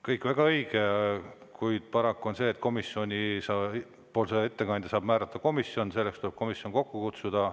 Kõik on väga õige, kuid paraku on nii, et komisjoni ettekandja saab määrata komisjon, selleks tuleb komisjon kokku kutsuda.